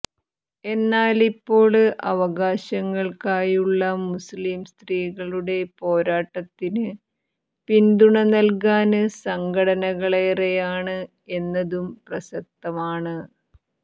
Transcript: എന്നാല് ഇപ്പോള് അവകാശങ്ങള്ക്കായുള്ള മുസ്ലിം സ്ത്രീകളുടെ പോരാട്ടത്തിന് പിന്തുണ നല്കാന് സംഘടനകളേറെയാണ് എന്നതും പ്രസക്തമാണ്